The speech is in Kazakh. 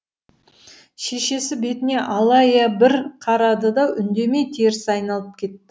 шешесі бетіне алая бір қарады да үндемей теріс айналып кетті